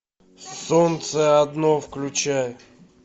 солнце одно включай